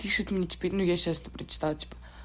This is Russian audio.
пишет мне теперь но я сейчас это причитала типа